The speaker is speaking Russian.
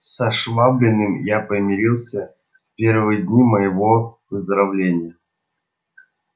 со швабриным я помирился в первые дни моего выздоровления